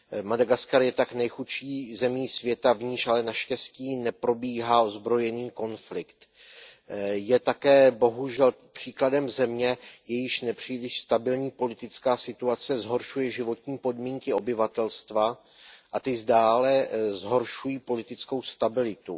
Madagaskar je tak nejchudší zemí světa, v níž ale naštěstí neprobíhá ozbrojený konflikt. Je také bohužel příkladem země, jejíž nepříliš stabilní politická situace zhoršuje životní podmínky obyvatelstva a ty dále zhoršují politickou stabilitu.